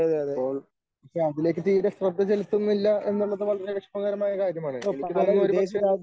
അപ്പോൾ അതിലേക്ക് തീരെ ശ്രദ്ധ ചെലുത്തുന്നില്ല എന്നുള്ളത് വളരെ വിഷമകരമായ കാര്യമാണ്. എനിക്ക് തോന്നുന്നു ഒരുപക്ഷേ